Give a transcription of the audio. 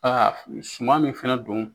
Aa suman min fana don